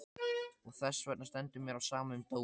Og þessvegna stendur mér á sama um dóminn.